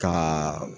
Ka